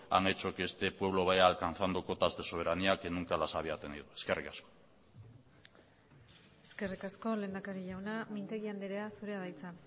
han hecho que este pueblo vaya alcanzado cotas de soberanía que nunca las había tenido eskerrik asko eskerrik asko lehendakari jauna mintegi andrea zurea da hitza